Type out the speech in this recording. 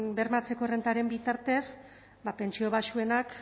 bermatzeko errentaren bitartez ba pentsio baxuenak